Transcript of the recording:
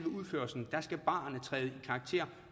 udførslen skal barene træde i karakter